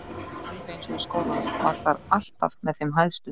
Alveg eins og í skólanum, var þar alltaf með þeim hæstu.